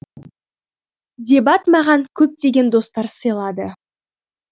дебат маған көптеген достар сыйлады